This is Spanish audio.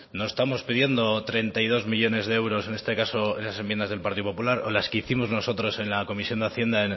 no estamos pidiendo treinta y dos millónes de euros en este caso en las enmiendas del partido popular o las que hicimos nosotros en la comisión de hacienda